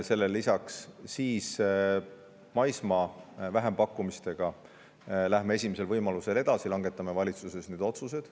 Siis läheme maismaa vähempakkumistega esimesel võimalusel edasi, langetame valitsuses sellekohased otsused.